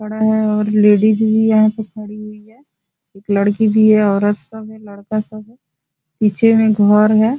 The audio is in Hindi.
लेडीस भी यहाँ पे खड़ी हुई है लड़की भी है औरत सब है लड़का सब है पीछे में घर है।